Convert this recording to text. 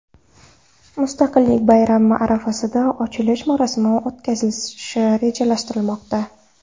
Mustaqillik bayrami arafasida ochilish marosimi o‘tkazilishi rejalashtirilmoqda.